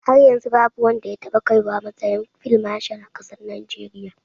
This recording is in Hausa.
Har yanzu babu wanda ya taɓa kaiwa matsayin fil mashal a ƙasar Najeriya.